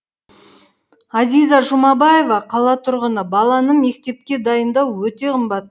әзиза жұмабаева қала тұрғыны баланы мектепке дайындау өте қымбат